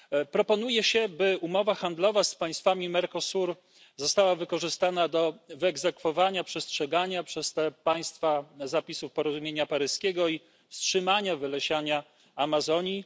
Proponuje się, by umowa handlowa z państwami Mercosuru została wykorzystana do wyegzekwowania przestrzegania przez te państwa zapisów porozumienia paryskiego i wstrzymania wylesiania Amazonii.